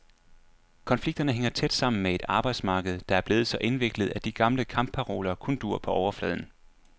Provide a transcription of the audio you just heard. Konflikterne hænger tæt sammen med et arbejdsmarked, der er blevet så indviklet, at de gamle kampparoler kun duer på overfladen.